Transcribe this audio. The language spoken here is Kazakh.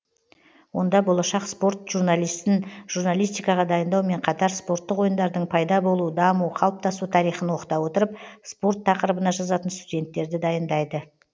онда болашақ спорт журналистін журналистикаға дайындаумен қатар спорттық ойындардың пайда болу даму қалыптасу тарихын оқыта отырып спорт тақырыбына жазатын студенттерді дайындайды